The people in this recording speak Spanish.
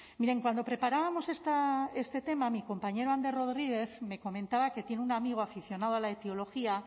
miren cuando preparábamos este tema mi compañero ander rodriguez me comentaba que tiene un amigo aficionado a la etiología